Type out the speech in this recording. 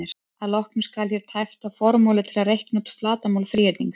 Að lokum skal hér tæpt á formúlu til að reikna út flatarmál þríhyrnings: